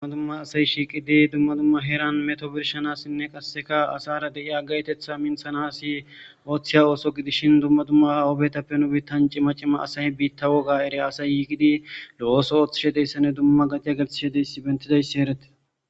Dumma dumma asayi shiiqidi dumma dumma heeran meto birshanassinne qasseka asara de'iya agaytetha minthanasi ooththiya ooso gidishin dumma dumma oobetappe nubitanci macima asayi biitta woga eri asay yiigidi lo'oso ooththishe deyssa ne dumma gadiya gelthishedeyssi bentidayssi erete.